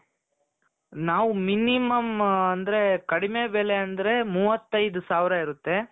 ನಾವು minimum ಅಂದ್ರೆ ಕಡಿಮೆ ಬೆಲೆ ಅಂದ್ರೆ ಮೂವತ್ತೈದು ಸಾವಿರ ಇರುತ್ತೆ.